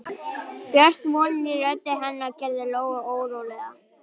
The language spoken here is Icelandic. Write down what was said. Björt vonin í rödd hennar gerði Lóu órólega.